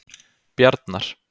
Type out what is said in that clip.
Bjarnar